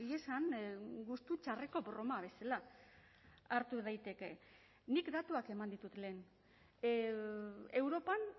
esan gustu txarreko broma bezala hartu daiteke nik datuak eman ditut lehen europan